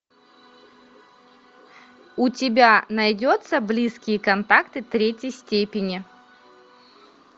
у тебя найдется близкие контакты третьей степени